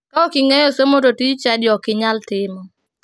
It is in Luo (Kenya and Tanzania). Ka ok ing'eyo somo to tij chadi ok inyal timo